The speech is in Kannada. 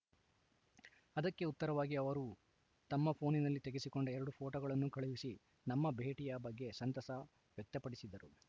ಅದಕ್ಕೆ ಉತ್ತರವಾಗಿ ಅವರೂ ತಮ್ಮ ಫೋನಿನಲ್ಲಿ ತೆಗೆಸಿಕೊಂಡ ಎರಡು ಫೋಟೊಗಳನ್ನು ಕಳುಹಿಸಿ ನಮ್ಮ ಭೇಟಿಯ ಬಗ್ಗೆ ಸಂತಸ ವ್ಯಕ್ತ ಪಡಿಸಿದರು